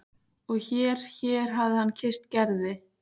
Og hér hér hafði hann kysst Gerði.